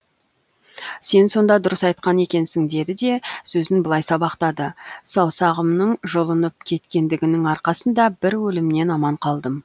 сен сонда дұрыс айтқан екенсін деді де сөзін былай сабақтады саусағымның жұлынып кеткендігінің арқасында бір өлімнен аман қалдым